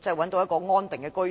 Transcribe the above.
找到安定的居所？